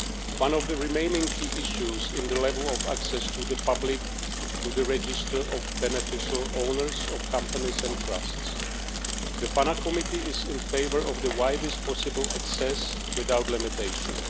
One of the remaining key issues is the level of public access to the register of beneficial owners of companies and trusts. The PANA Committee is in favour of the widest possible access without limitations.